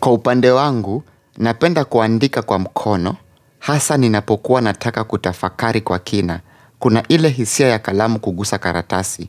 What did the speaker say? Kwa upande wangu, napenda kuandika kwa mkono, hasa ninapokuwa nataka kutafakari kwa kina, kuna ile hisia ya kalamu kugusa karatasi,